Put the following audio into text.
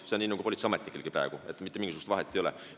See on samuti nagu politseiametnikel praegu, mitte mingisugust vahet ei ole.